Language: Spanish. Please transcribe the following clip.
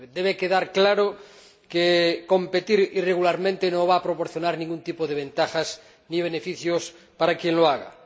Debe quedar claro que competir irregularmente no va a proporcionar ningún tipo de ventajas ni beneficios para quien lo haga.